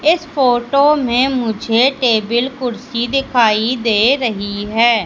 इस फोटो में मुझे टेबल कुर्सी दिखाई दे रही है।